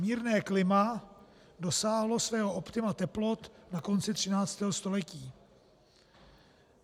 Mírné klima dosáhlo svého optima teplot na konci 13. století.